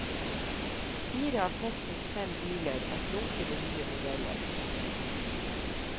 Fire av testens fem biler er flunkende nye modeller.